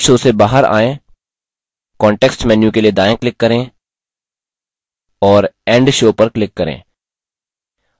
slide show से बाहर आएँ context menu के लिए दायाँclick करें और end show पर click करें